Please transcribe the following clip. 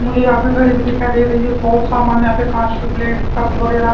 मुझे यहां पे घड़ी दिखाई दे रही है बहुत सामान यहां पे कांच की प्लेट्स कप वगैरह--